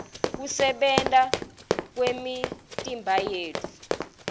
kusebenta kwemitimbayetfu